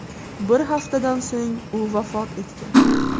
Bir haftadan so‘ng u vafot etgan.